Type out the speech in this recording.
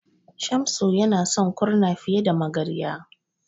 Shamsu yana son Kurna fiye da Magarya.